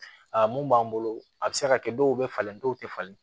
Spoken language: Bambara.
Aa mun b'an bolo a bɛ se ka kɛ dɔw bɛ falen dɔw tɛ falen